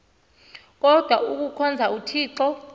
kodwa ikuhkhonza uthixo